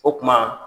O tuma